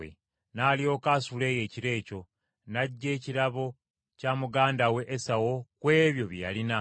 N’alyoka asula eyo ekiro ekyo, n’aggya ekirabo kya muganda we Esawu ku ebyo bye yalina: